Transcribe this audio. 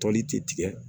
Toli ti tigɛ